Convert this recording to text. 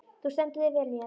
Þú stendur þig vel, Mjöll!